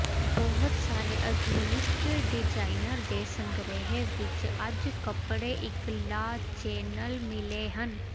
ਬਹੁਤ ਸਾਰੇ ਆਧੁਨਿਕ ਡਿਜ਼ਾਈਨਰ ਦੇ ਸੰਗ੍ਰਹਿ ਵਿੱਚ ਅੱਜ ਕੱਪੜੇ ਇੱਕ ਲਾ ਚੈਨਲ ਮਿਲੇ ਹਨ